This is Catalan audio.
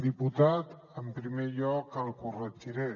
diputat en primer lloc el corregiré